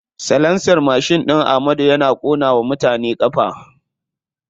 Salansar mashin ɗin amadu yana ƙona wa mutane ƙafa.